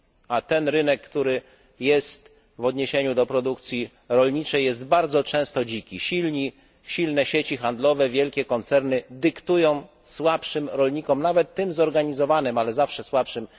A ten rynek, który odnosi się do produkcji rolniczej, jest bardzo często dziki silne sieci handlowe, wielkie koncerny dyktują warunki słabszym rolnikom, nawet tym zorganizowanym, ale zawsze słabszym.